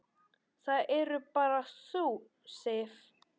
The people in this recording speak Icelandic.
Það ert bara þú, Sif.